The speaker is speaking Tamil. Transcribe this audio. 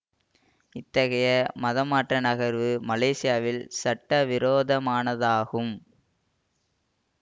இத்தகைய மதமாற்ற நகர்வு மலேசியாவில் சட்ட விரோதமானதாகும்